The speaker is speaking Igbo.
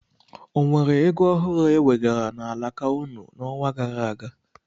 O nwere ego ọhụrụ ewegara n'alaka ụnụ n'ọnwa gara aga?